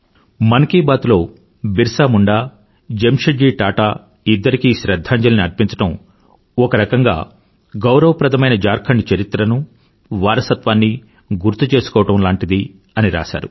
మన్ కీ బాత్ లో బిర్సా ముండా జమ్షెడ్ జీ టాటా ఇద్దరికీ శ్రధ్ధాంజలి ని అర్పించడం ఒక రకంగా గౌరవప్రదమైన ఝార్ఖండ్ చరిత్రను వారసత్వాన్నీ గుర్తుచేసుకోవడంలాంటిది అని రాశారు